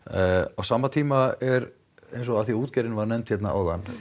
á sama tíma er eins og af því að útgerðin var nefnd hérna áðan